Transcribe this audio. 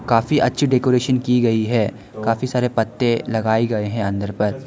काफी अच्छी डेकोरेशन की गई है काफी सारे पत्ते लगाए गए हैं अंदर पर।